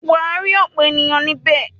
Wà á rí ọ̀pọ̀ ènìyàn níbẹ̀.